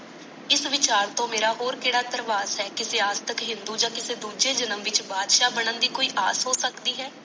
ਇਹ ਵਿਚਾਰ ਮਾਰਾ ਹੋਰ ਕੜਾ ਦਰਵਾਸ਼ ਹੈ ਕਿ ਸਿਆਸਤ ਯ ਹਿੰਦੂ ਯ ਕਿਸੇ ਦੂਜੇ ਜਨਮ ਵਿਚ ਬਾਦਸ਼ਾ ਬਣਨ ਦੀ ਕੋਈ ਆਸ ਹੋ ਸਕਦੀ ਹੈ